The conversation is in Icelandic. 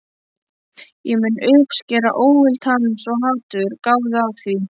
Ég mun uppskera óvild hans- og hatur, gáðu að því.